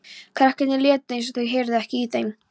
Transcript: Krakkarnir létu eins og þau heyrðu ekki í þeim.